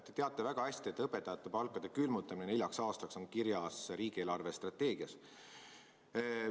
Te teate väga hästi, et õpetajate palkade külmutamine neljaks aastaks on kirjas riigi eelarvestrateegias.